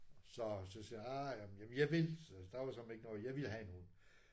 Så så siger ah jamen jamen jeg vil! Der var søreme ikke noget jeg ville have en hund